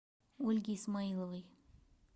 ольге исмаиловой